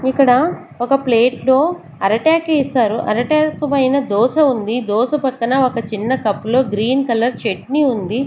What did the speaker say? ఇక్కడ ఒక ప్లేట్ లో అరిటాకు ఏశారు అరిటాకు పైన దోస ఉంది దోస పక్కన ఒక చిన్న కప్పు లో గ్రీన్ కలర్ చట్నీ ఉంది.